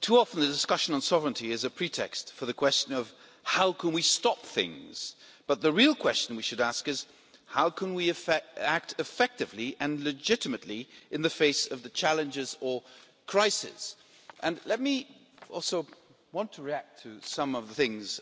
Too often the discussion on sovereignty is a pretext for the question of how we can stop things, but the real question we should ask is how can we act effectively and legitimately in the face of challenges or crises? I also want to react to some of the things